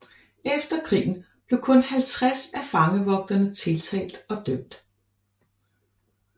Efter krigen blev kun 50 af fangevogterne tiltalt og dømt